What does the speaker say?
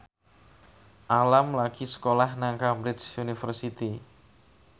Alam lagi sekolah nang Cambridge University